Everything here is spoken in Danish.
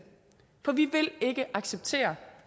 for vi vil ikke acceptere